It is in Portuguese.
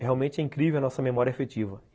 É realmente incrível a nossa memória efetiva.